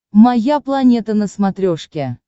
моя планета на смотрешке